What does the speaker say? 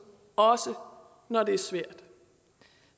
også når når det er svært